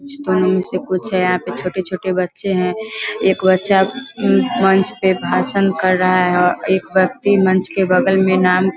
कुछ है यहां पे छोटे-छोटे बच्चे है एक बच्चा उम्म मंच पे भाषण कर रहा है और एक व्यक्ति मंच के बगल में नाम --